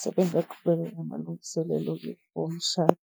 sebengaqhubeka namalungiselelo-ke womshado.